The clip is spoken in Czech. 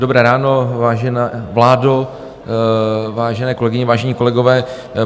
Dobré ráno, vážená vládo, vážené kolegyně, vážení kolegové.